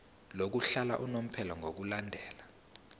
lokuhlala unomphela ngokulandela